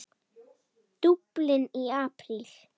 Dublin í apríl